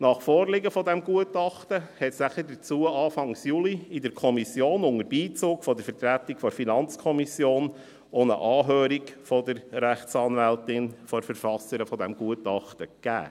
Nach Vorliegen des Gutachtens erfolgte dazu Anfang Juli, unter Beizug der Vertretung der FiKo, eine Anhörung der Rechtsanwältin, der Verfasserin dieses Gutachtens, in der Kommission.